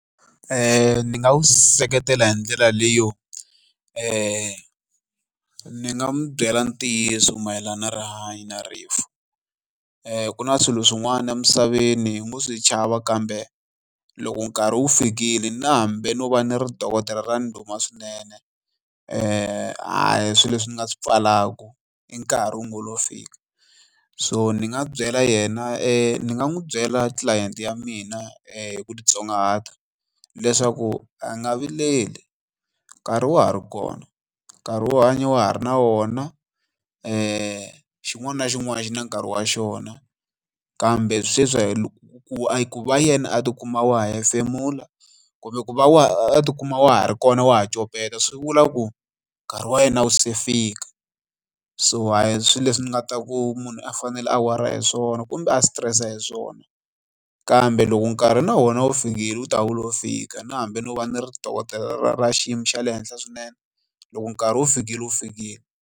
Ni nga wu seketela hi ndlela leyo leyi ni nga n'wu byela ntiyiso mayelana na rihanyo na rifu. Ku na swilo swin'wana emisaveni hi ngo swi chava kambe loko nkarhi wu fikile na hambi no va ni ri dokodela ra ndhuma swinene a hi swilo leswi ni nga swi pfalaka i nkarhi wu ngo lo fika. So ni nga byela yena ni nga n'wi byela tlilayenti ya mina hi ku titsongahata leswaku a nga vileli nkarhi wa ha ri kona, nkarhi wo hanya wa ha ri na wona ku xin'wana na xin'wana xi na nkarhi wa xona kambe sweswi ku va yena a tikuma a ha ha hefemula kumbe ku va a tikuma a ha ri kona a ha copeta swi vula ku nkarhi wa yena a wu se fika. So a hi swilo leswi ni nga ta ku munhu a fanele a weriwa hi swona kumbe a stress a hi swona kambe loko nkarhi na wona wu fikile u ta wule wo fika na hambi no va ni ri dokodela ra ra ra xiyimo xa le henhla swinene loko nkarhi wu fikile wu fikile.